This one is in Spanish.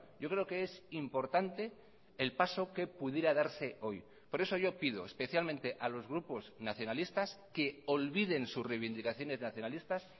yo creo que es importante el paso que pudiera darse hoy por eso yo pido especialmente a los grupos nacionalistas que olviden sus reivindicaciones nacionalistas